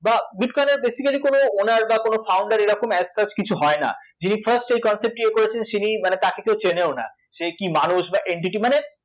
বা bitcoin এর basically কোনো owner বা কোনো founder এরকম as such কিছু হয় না, যিনি first এই concept টি ইয়ে করেছেন তিনি মানে তাকে কেউ চেনেও না, সে কি মানুষ বা entity